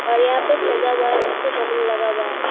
और यहाँ पे सजा हुआ है पीछे बलून लगा हुआ है।